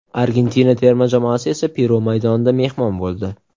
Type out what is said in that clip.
Argentina terma jamoasi esa Peru maydonida mehmon bo‘ldi.